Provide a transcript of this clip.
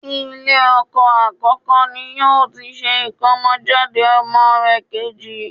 Ilé ọkọ àkọ́kọ́ ni yóò ti ṣe ìkómọjáde ọmọ rẹ̀ kejì